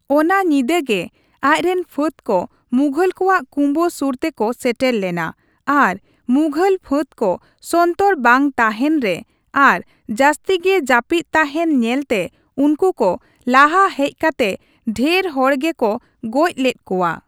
ᱚᱱᱟ ᱧᱤᱫᱟᱹ ᱜᱮ ᱟᱡ ᱨᱮᱱ ᱯᱷᱟᱹᱫ ᱠᱚ ᱢᱩᱜᱷᱚᱞ ᱠᱚᱣᱟᱜ ᱠᱩᱢᱵᱟᱹ ᱥᱩᱨ ᱛᱮᱠᱚ ᱥᱮᱴᱮᱨ ᱞᱮᱱᱟ ᱟᱨ ᱢᱩᱜᱷᱚᱞ ᱯᱷᱟᱹᱫ ᱠᱚ ᱥᱚᱱᱛᱚᱨ ᱵᱟᱝ ᱛᱟᱦᱮᱱ ᱨᱮ ᱟᱨ ᱡᱟᱹᱛᱥᱤ ᱜᱮ ᱡᱟᱹᱯᱤᱫ ᱛᱟᱦᱮᱱ ᱧᱮᱞᱛᱮ ᱩᱱᱠᱩ ᱠᱚ ᱞᱟᱦᱟ ᱦᱮᱡ ᱠᱟᱛᱮ ᱰᱷᱮᱨ ᱦᱚᱲᱜᱮ ᱠᱚ ᱜᱚᱡ ᱞᱮᱫ ᱠᱚᱣᱟ ᱾